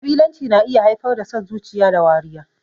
Ƙabilanci na iya haifar da son zuciya da wariya.